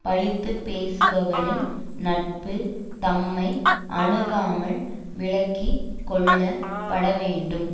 பழித்து பேசுபவரின் நட்பு தம்மை அணுகாமல் விலக்கி கொள்ளப்படவேண்டும்